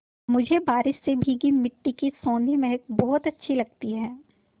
मुझे बारिश से भीगी मिट्टी की सौंधी महक बहुत अच्छी लगती है